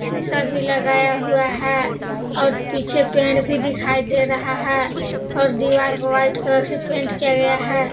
शीशा भी लगाया हुआ है और पीछे पेड़ भी दिखाई दे रहें है और दीवार को व्हाइट कलर से पेंट किया गया है।